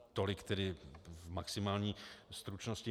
Tolik tedy v maximální stručnosti.